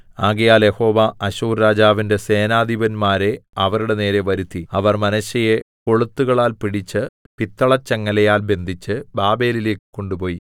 ആകയാൽ യഹോവ അശ്ശൂർരാജാവിന്റെ സേനാധിപന്മാരെ അവരുടെ നേരെ വരുത്തി അവർ മനശ്ശെയെ കൊളുത്തുകളാൽ പിടിച്ച് പിത്തളചങ്ങലയാൽ ബന്ധിച്ച് ബാബേലിലേക്ക് കൊണ്ടുപോയി